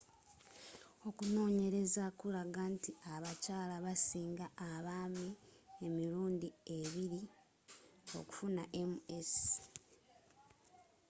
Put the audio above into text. okunoonyereza kulaga nti abakyala basinga abaami emirundi ebiri okufuna ms